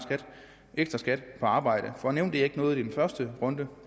ekstra skat på arbejde jeg nævnte ikke noget i første runde